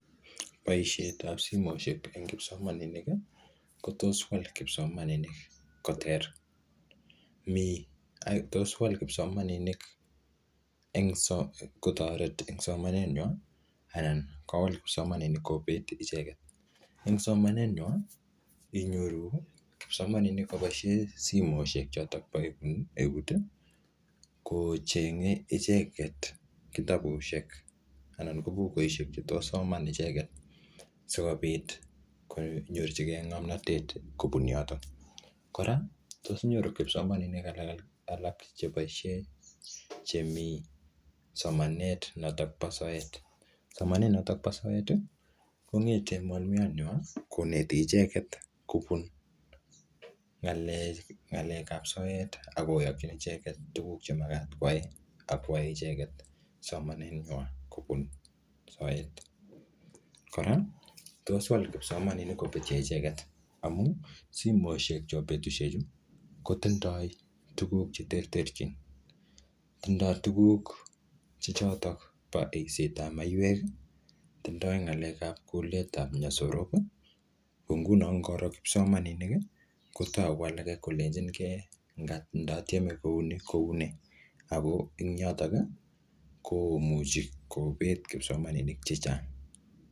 Boisiet ap simoshek eng kipsomaninik, kotos wal kipsomaininik koter. Mii tos wal kpsomaninik eng so kotoret eng somanet nywaa, anan kowal kipsomaninik kobet icheket. Eng somanet nywaa, inyoru kipsomaninik kabosie simoshek chotok po eut, kocheng'e icheket kitabusiek anan ko bukusiek che tos soman icheket. Sikobit konyorchikei ngomnotet kobun yotok. Kora, tos nyoru kipsomaninik alak-alak che boisie, chemiii somanet notok po soet. Somanet notok po soet, kongete mwalimuiyot nywaa, koneti icheket kobun ng'alek-ng'alek ap soet, akoyokchin icheket tuguk che magat kwai, akwae icheket somanet nywaa kobun soet. Kora, tos wal kipsomaninik kobutyo icheket. Amuu, simoshek chepo betusiek chu, kotindoi tuguk che terterchin. Tindoi tuguk che chotok bo eiset ap maiwek. Tindi ng'alek ap kulet ap nyasorok. Ko nguno ngoro kipsomaninik, kotau alake kolechinkei, ndatieme kouni koune. Ako eng yotok, komuchi kobet kipsomaninik chechang